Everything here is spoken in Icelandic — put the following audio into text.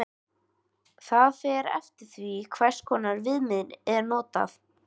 Það fer eftir því hvers konar viðmið er notað.